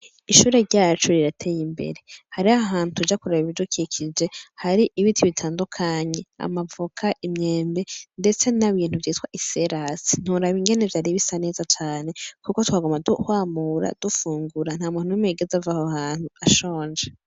Ishure ryacu rirateye imbere. Hariho ahantu tuja kuraba ibidukikije, hari ibiti bitandukanye, amavoka, imyembe ndetse n'ibintu vyitwa iserasi. Ntiworaba ingene vyari bisa neza cane kuko twaguma twamura dufungura, nta muntu n'umwe yigeze ava aho hantu ashonje.